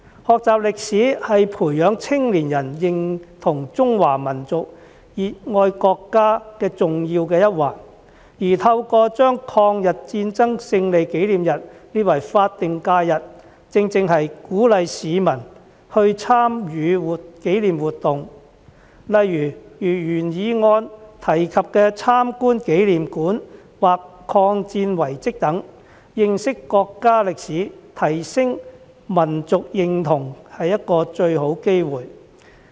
學習歷史是培養青年人認同中華民族、熱愛國家的重要一環，而透過把抗日戰爭勝利紀念日列為法定假日，正正是鼓勵市民參與紀念活動，例如原議案提及的參觀紀念館或抗戰遺蹟等，是認識國家歷史、提升民族認同的一個最好機會。